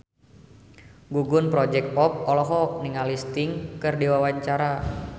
Gugum Project Pop olohok ningali Sting keur diwawancara